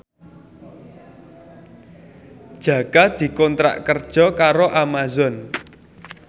Jaka dikontrak kerja karo Amazon